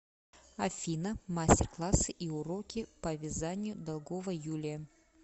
афина мастер классы и уроки по вязанию долгова юлия